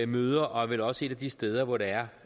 møder og er vel også et af de steder hvor der